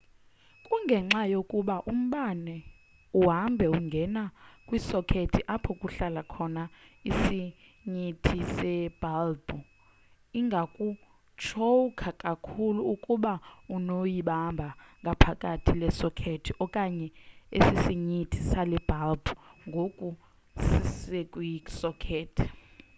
kungenxa yokuba umbane uhamba ungene kwisokethi apho kuhlala khona isinyithi sebhalbhu ingakutshowukha kakhulu ukuba unoyibamba ngaphakathi le sokethi okanye esisinyithi sale bhalbhu ngoku sisekwi sokethi